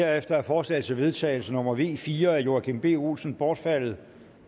herefter er forslag til vedtagelse nummer v fire af joachim b olsen bortfaldet